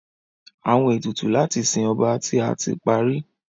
Awọn etutu lati sin ọba ti a ti pari